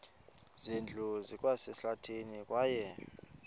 zindlu zikwasehlathini kwaye